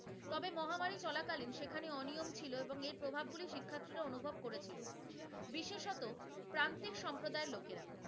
চলাকালীন সেখানে অনিয়ম ছিল এবং এর প্রভাবগুলি শিক্ষার্থীরা অনুভব করেছিল, বিশেষত প্রান্তিক সম্প্রদায়ের লোকেরা,